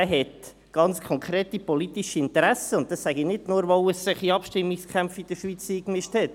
Er hat ganz konkrete politische Interessen, und das sage ich nicht nur, weil er sich in Abstimmungskämpfe eingemischt hat.